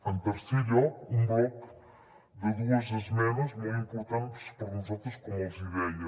en tercer lloc un bloc de dues esmenes molt importants per a nosaltres com els hi deia